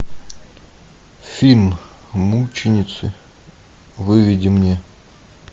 фильм мученицы выведи мне